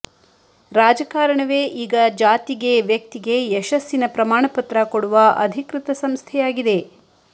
ರಾಜಕಾರಣವೇ ಈಗ ಜಾತಿಗೆ ವ್ಯಕ್ತಿಗೆ ಯಶಸ್ಸಿನ ಪ್ರಮಾಣ ಪತ್ರ ಕೊಡುವ ಅಧಿಕೃತ ಸಂಸ್ಥೆಯಾಗಿದೆ